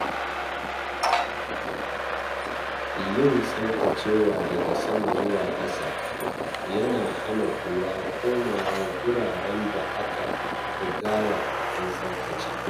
Yin tsaftacewa daga sama zuwa ƙasa yana hana ƙura komawa wuraren da aka rigaya an tsaftace.